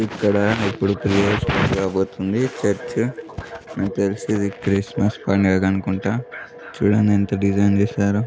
ఇక్కడ ఇప్పుడు జరగబోతుంది. చర్చి నాకు తెలిసి ఇది క్రిస్మస్ పాండుగా అనుకుంట చుడండి ఎంత డిజైన్ చేసారో.